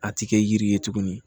A ti kɛ yiri ye tuguni